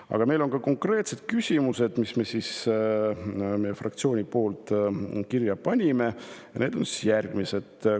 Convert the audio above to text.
Aga meil on ka konkreetsed küsimused, mis meie fraktsioon on kirja pannud, ja need on järgmised.